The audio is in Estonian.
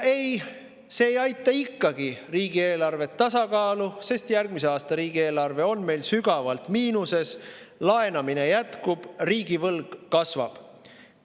Ei, see ei aita ikkagi riigieelarvet tasakaalu, sest järgmise aasta riigieelarve on meil sügavalt miinuses, laenamine jätkub, riigivõlg kasvab.